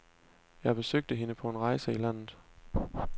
Jeg besøgte hende på en rejse i landet.